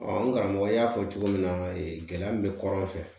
n karamɔgɔ y'a fɔ cogo min na gɛlɛya min bɛ kɔrɔn fɛ